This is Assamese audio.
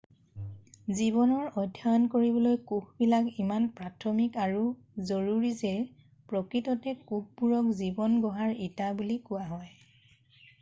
জীৱনৰ অধ্যায়ণ কৰিবলৈ কোষবিলাক ইমান প্ৰাথমিক আৰু জৰুৰী যে প্ৰকৃততে কোষবোৰক জীৱন গঢ়াৰ ইটা বুলি কোৱা হয়